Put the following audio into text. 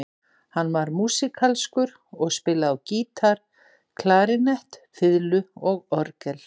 Hann var músíkalskur og spilaði á gítar, klarínett, fiðlu og orgel.